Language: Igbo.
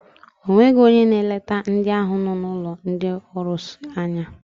O nweghị onye na-eleta ndị ahụ nọ n'ụlọ ndị ọrụsị anya.